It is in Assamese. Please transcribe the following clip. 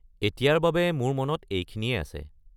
এতিয়াৰ বাবে মোৰ মনত এইখিনিয়েই আছে।